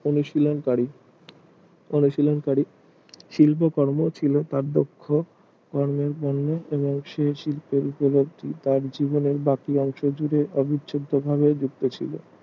হলো সিলংকারি সিলংকারি শিল্প কর্ণ ছিল তার দক্ষ শিল্পের ওপর তার জীবনের বাকি অংশ জুড়ে বাকি অংশ এভাবেই গুপ্ত ছিল